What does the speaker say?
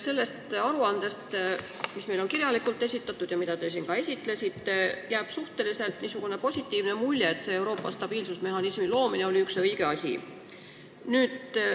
Sellest aruandest, mis meile on kirjalikult esitatud ja mida te ka siin tutvustasite, jääb suhteliselt positiivne mulje, et Euroopa stabiilsusmehhanismi loomine oli üks õige asi.